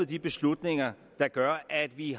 de beslutninger der gør at vi